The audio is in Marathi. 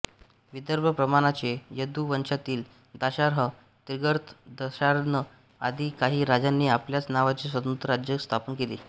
विदर्भप्रमाणाचे यदु वंशातील दाशार्ह त्रिगर्त दशार्ण आदी काही राजांनी आपल्याच नावाची स्वतंत्र राज्ये स्थापन केली